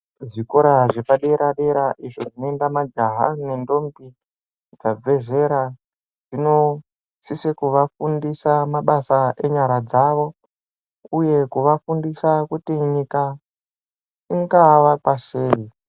Zvikora zvepadera dera zvinoenda majaha nendombi dzabve zera zvinosise kuvafundisa mabasa enyara dzavo, uye kuvafundisa kuti nyika ingavakwa sei.